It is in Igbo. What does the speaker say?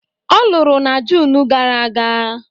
Ọ lụrụ na June gara aga